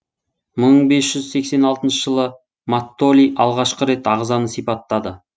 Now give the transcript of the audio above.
мың бес жүз сексен алтыншы жылы маттоли алғашқы рет ағзаны сипаттады